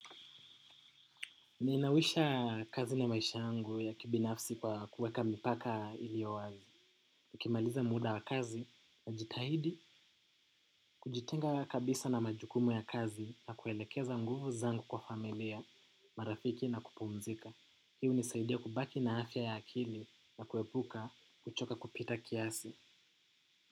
Ninawisha kazi na maisha yangu ya kibinafsi kwa kuweka mipaka iliyo wazi. Nikimaliza muda wa kazi najitahidi kujitenga kabisa na majukumu ya kazi na kuelekeza nguvu zangu kwa familia, marafiki na kupumzika. Hii hunisaidia kubaki na afya ya akili na kuepuka kuchoka kupita kiasi.